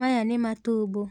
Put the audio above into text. Maya nĩ matumbũ.